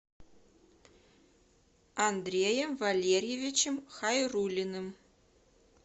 андреем валерьевичем хайруллиным